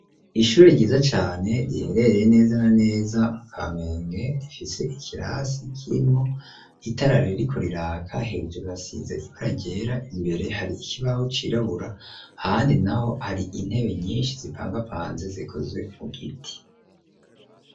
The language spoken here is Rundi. Ishuri ryiza cane, riherereye neza na neza mu Kamenge, rifise ikirasi kirimwo itara ririko riraka; hejuru hasize ibara ryera, imbere hari ikibaho cirabura, ahandi naho hari intebe nyinshi zipangapanze, zikozwe mu giti.